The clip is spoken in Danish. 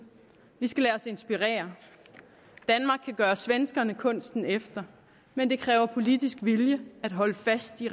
vi skal lade os inspirere danmark kan gøre svenskerne kunsten efter men det kræver politisk vilje at holde fast i